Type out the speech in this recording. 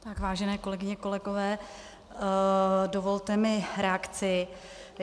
Vážené kolegyně, kolegové, dovolte mi reakci.